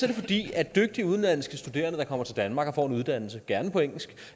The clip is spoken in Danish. det fordi dygtige udenlandske studerende der kommer til danmark og får en uddannelse gerne på engelsk